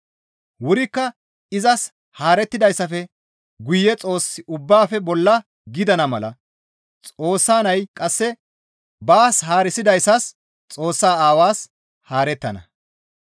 Wurikka izas haarettidayssafe guye Xoossi ubbaafe bolla gidana mala Xoossa nay qasse ubbaa baas haarisidayssas Xoossa Aawaas haarettana.